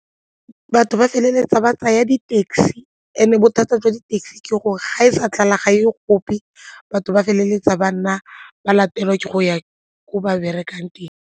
Batho ba feleletsa ba tsaya di-taxi and-e bothata jwa di-taxi ke gore ga e sa tlala ga e ye gope batho ba feleletsa ba nna ba latelwa ke go ya ko ba berekang teng.